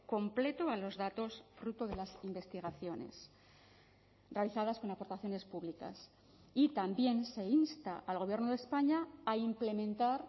completo a los datos fruto de las investigaciones realizadas con aportaciones públicas y también se insta al gobierno de españa a implementar